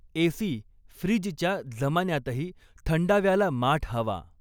AC, फ्रीजच्या जमान्यातही थंडाव्याला माठ हवा.